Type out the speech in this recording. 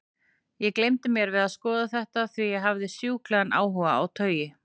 Ég gleymdi mér við að skoða þetta, því ég hafði sjúklegan áhuga á taui.